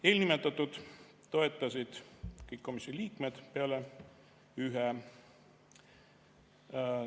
Eelnimetatut toetasid kõik komisjoni liikmed peale ühe.